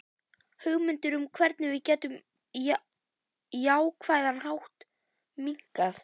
Hugmyndir um hvernig við getum á jákvæðan hátt minnkað.